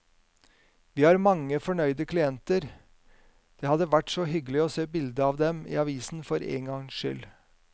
Vi har mange fornøyde klienter, det hadde vært hyggelig å se bilde av dem i avisen for en gangs skyld.